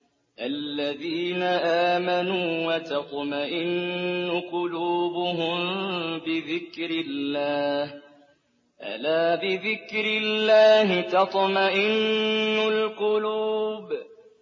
الَّذِينَ آمَنُوا وَتَطْمَئِنُّ قُلُوبُهُم بِذِكْرِ اللَّهِ ۗ أَلَا بِذِكْرِ اللَّهِ تَطْمَئِنُّ الْقُلُوبُ